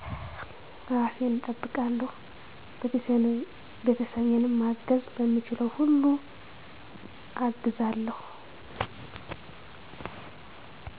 እራሴን እጠብቃለሁ ቤተሰቤንም ማገዝ በምችለው ሁሉ አግዛለሁ